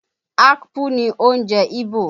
Akpu ni oúnjẹ Ìgbò